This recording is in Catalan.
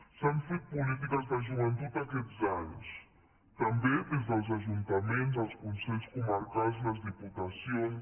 s’han fet polítiques de joventut aquests anys també des dels ajuntaments els consells comarcals les diputacions